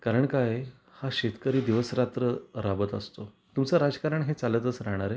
कारण काय आहे हा शेतकरी दिवस रात्र राबत असतो तुमचा राजकारण हे चालतच राहणार आहे